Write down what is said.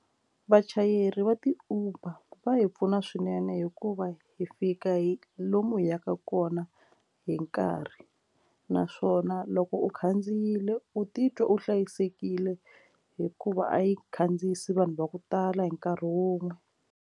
Vachayeri va ti uber va hi pfuna swinene hikuva hi fika hi lomu hi yaka kona hi nkarhi naswona loko u khandziyile u titwa u hlayisekile hikuva a yi khandziyisi vanhu va ku tala hi nkarhi wun'we.